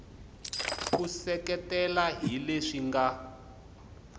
u seketela hi leswi nga